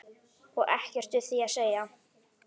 Og ekkert við því að segja.